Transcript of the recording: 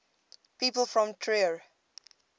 people from trier